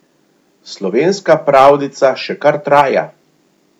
Slovenska pravljica še kar traja.